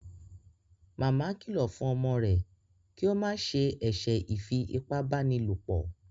Màmá kìlọ fún ọmọ rẹ kio ma ṣe eṣe ifi ipá báni lọpọ